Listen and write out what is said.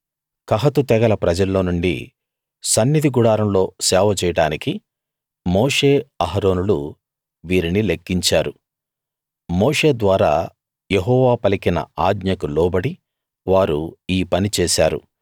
కహాతు తెగల ప్రజల్లో నుండి సన్నిధి గుడారంలో సేవ చేయడానికి మోషే అహరోనులు వీరిని లెక్కించారు మోషే ద్వారా యెహోవా పలికిన ఆజ్ఞకు లోబడి వారు ఈ పని చేశారు